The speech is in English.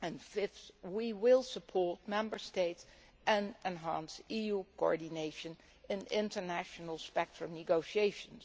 Fifth, we will support Member States and enhance EU coordination in international spectrum negotiations.